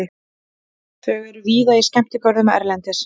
Þau eru víða í skemmtigörðum erlendis.